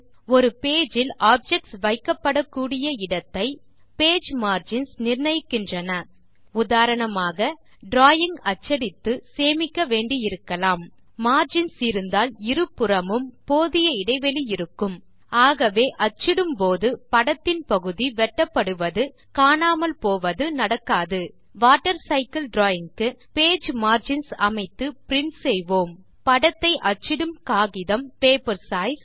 000046 000042 ஒரு பேஜ் இல் ஆப்ஜெக்ட்ஸ் வைக்க்ப்படக்கூடிய இடத்தை page margins நிர்ணயிக்கின்றன உதாரணமாக டிராவிங் அச்சடித்து சேமிக்க வேண்டியிருக்கலாம் மார்ஜின்ஸ் இருந்தால் இரு புறமும் போதிய இடைவெளி இருக்கும் ஆகவே அச்சிடும் போது படத்தின் பகுதி வெட்டப்படுவது காணாமல் போவது நடக்காது வாட்டர்சைக்கில் டிராவிங் க்கு பேஜ் மார்ஜின்ஸ் அமைத்து பிரின்ட் செய்வோம் படத்தை அச்சிடும் காகிதம் பேப்பர் சைஸ்